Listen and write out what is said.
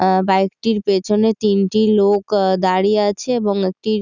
আ bike টির পেছনে তিনটি আ লোক দাঁড়িয়ে আছে এবং একটি --